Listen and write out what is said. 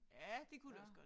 Ja det kunne det også godt